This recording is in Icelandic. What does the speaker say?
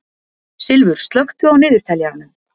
Silfur, slökktu á niðurteljaranum.